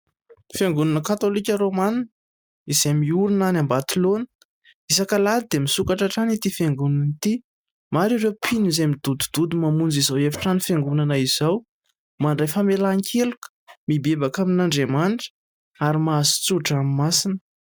Fiangonana katolika romana izay miorina any ambatilaona ,isak'alahady dia misokatra hatrany ity fiangonana ity. Maro ireo mpino izay midodododo mamonjy izao efitrano fiangonana izao, mandray famelan-keloka, mibebaka amin'Andriamanitra ary mahazo tso-drano masina.